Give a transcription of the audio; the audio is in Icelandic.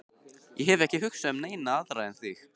Ég hef ekki hugsað um neina aðra en þig.